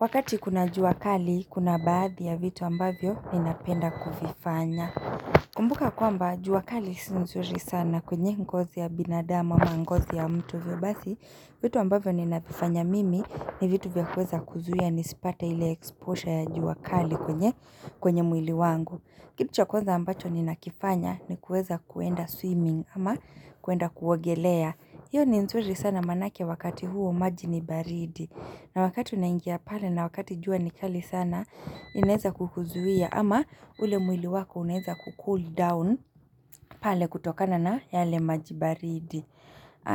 Wakati kuna jua kali, kuna baadhi ya vitu ambavyo ninapenda kuvifanya. Kumbuka kwamba jua kali si nzuri sana kwenye ngozi ya binadamu, ama ngozi ya mtu. Hivyo basi vitu ambavyo ninavifanya mimi ni vitu vya kuweza kuzuia nisipate ile exposure ya jua kali kwenye kwenye mwili wangu. Kitu cha kwanza ambacho ninakifanya ni kuweza kuenda swimming ama kuenda kuogelea. Hiyo ni nzuri sana maanake wakati huo maji ni baridi vitu ambavyo ninavifanya mimi ni vitu vya kuweza kuzuia nisipate ili exposure ya jua kali kwenye kwenye mwili wangu. Kitu cha kwanza ambacho ninakifanya ni kuweza kuenda swimming ama kuenda kuogelea. Hiyo ni nzuri sana maanake wakati huo maji ni baridi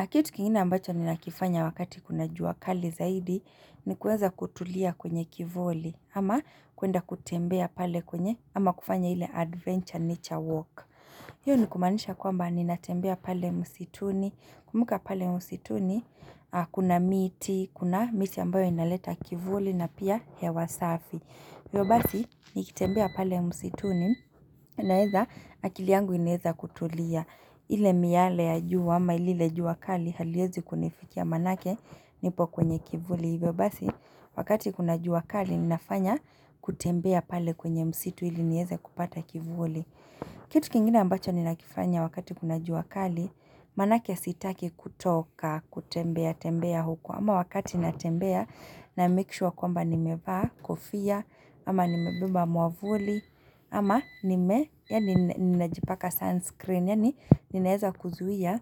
Kitu kingine ambacho ninakifanya wakati kuna jua kali zaidi ni kuweza kutulia kwenye kivuli ama kuenda kutembea pale kwenye ama kufanya ile adventure nature walk. Hiyo ni kumaanisha kwamba ninatembea pale msituni, kumbuka pale msituni, kuna miti, kuna miti ambayo inaleta kivuli na pia hewa safi. Hivyo basi nikitembea pale msituni naeza akili yangu inaweza kutulia. Ile miale ya jua ama lile jua kali haliezi kunifikia maanake nipo kwenye kivuli. Hivyo basi wakati kuna jua kali ninafanya kutembea pale kwenye msitu ili nieze kupata kivuli. Kitu kingine ambacho ninakifanya wakati kuna jua kali, maanake sitaki kutoka, kutembea, tembea huku, ama wakati natembea na make sure kwamba nimevaa, kofia, ama nimebeba mwavuli, ama nime, yaani najipaka sunscreen, yaani ninaeza kuzuia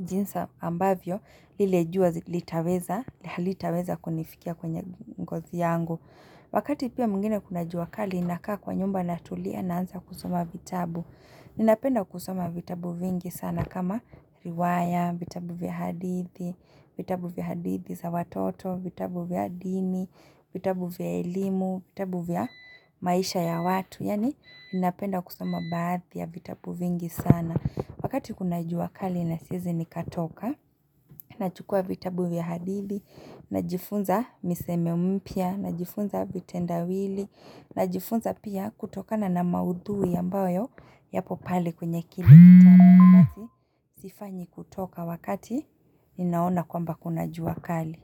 jinsi ambavyo, ile jua litaweza, halitaweza kunifikia kwenye ngozi yangu. Wakati pia mwingine kuna jua kali ninakaa kwa nyumba natulia naanza kusoma vitabu. Ninapenda kusoma vitabu vingi sana kama riwaya, vitabu vya hadithi, vitabu vya hadithi za watoto, vitabu vya ndimi, vitabu vya elimu, vitabu vya maisha ya watu. Yaani ninapenda kusoma baadhi ya vitabu vingi sana. Wakati kuna jua kali na siezi nikatoka Nachukua vitabu vya hadithi Najifunza misemo mpya. Najifunza vitendawili. Najifunza pia kutokana na maudhui ambayo yapo pale kwenye kile basi sifanyi kutoka wakati Ninaona kwamba kuna jua kali.